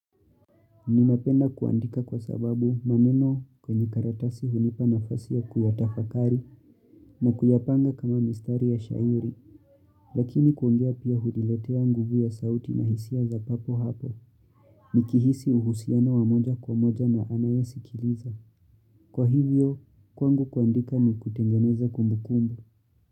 Ninapenda kuandika kwa sababu maneno kwenye karatasi hunipa nafasi ya kuyatafakari na kuyapanga kama mistari ya shairi, lakini kuongea pia huniletea nguvu ya sauti na hisia za papo hapo, nikihisi uhusiana wa moja kwa moja na anayesikiliza. Kwa hivyo, kwangu kuandika ni kutengeneza kumbu kumbu.